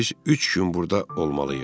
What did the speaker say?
Biz üç gün burda olmalıyıq.